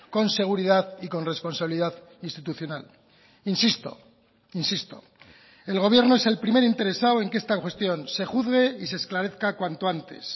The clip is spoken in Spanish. con seguridad y con responsabilidad institucional insisto insisto el gobierno es el primer interesado en que esta cuestión se juzgue y se esclarezca cuanto antes